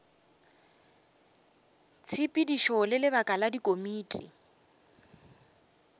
tshepedišo le lebaka la dikomiti